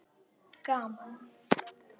SKÚLI: Gaman!